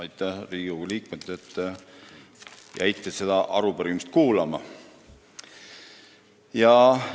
Aitäh, Riigikogu liikmed, kes te jäite seda arupärimist kuulama!